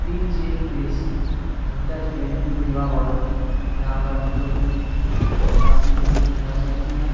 PJ. Place hotels banquet विवाह भवन यहां पर हमलोग भी श-शादी के लिए ठहर सकते है।